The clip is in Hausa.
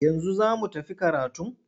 Yanzu za mu tafi karatun?